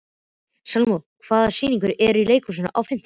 Salome, hvaða sýningar eru í leikhúsinu á fimmtudaginn?